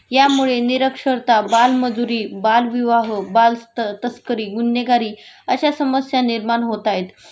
यामुळे निरक्षरता, बालमजुरी, बालविवाह, बालतस्करी, गुन्हेगारी अश्या समस्या निर्माण होतायत